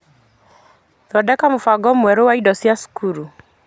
Thondeka mũbango mwerũ wa indo cia cukuru.